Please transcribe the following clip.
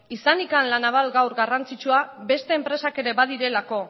izanik la naval gaur garrantzitsua beste enpresak ere badirelako